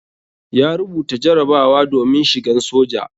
Ya rubuta jarabawa domin shigan soja.